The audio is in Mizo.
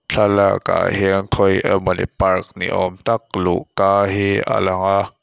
thlalak ah hian khawi emawni park ni awmtak luhka hi alang a--